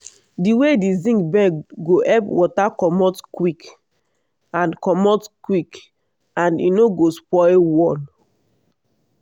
di way di zinc bend go help water comot quick and comot quick and e no go spoil wall.